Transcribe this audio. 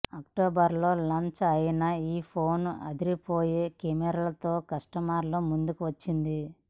October లో launch అయిన ఈ ఫోన్ అదిరిపోయే కెమెరాలతో కష్టమర్ల ముందుకు వచ్చింది